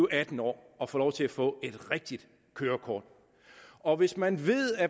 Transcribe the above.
atten år og få lov til at få et rigtigt kørekort og hvis man